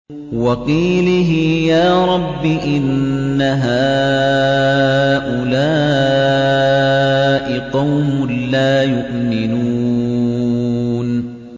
وَقِيلِهِ يَا رَبِّ إِنَّ هَٰؤُلَاءِ قَوْمٌ لَّا يُؤْمِنُونَ